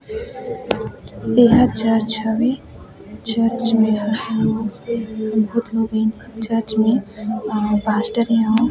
एहा चर्च हवे चर्च में मेहा आए बहुत लोग हैं चर्च मे प पास्टर एवं--